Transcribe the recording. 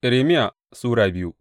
Irmiya Sura biyu